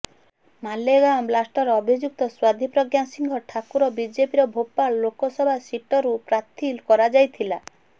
ମାଲେଗାଓଁ ବ୍ଲାଷ୍ଟର ଅଭିଯୁକ୍ତ ସାଧ୍ୱୀ ପ୍ରଜ୍ଞା ସିଂହ ଠାକୁର ବିଜେପିର ଭୋପାଳ ଲୋକସଭା ସିଟରୁ ପ୍ରାର୍ଥୀ କରାଯାଇଥିଲା